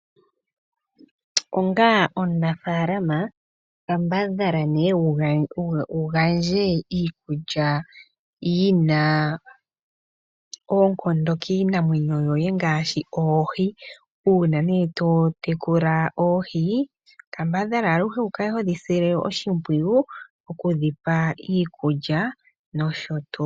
Onga omunafalama kambadhala ne wu gandje iikulya yi na oonkondo kiinamwenyo yoye ngaashi oohi. Uuna ne to tekula oohi kamabadhala aluhe wukale hodhi sile oshimpwiyu oku dhi pa iikulya nosho tuu.